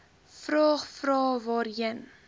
vraag vrae waarheen